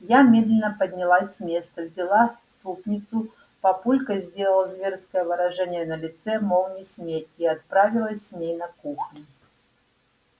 я медленно поднялась с места взяла супницу папулька сделал зверское выражение на лице мол не смей и отправилась с ней на кухню